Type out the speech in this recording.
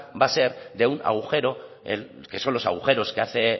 va a ser de un agujero que son los agujeros que hace